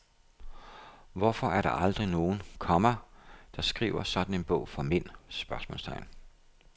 Hvorfor er der aldrig nogen, komma der skriver sådan en bog for mænd? spørgsmålstegn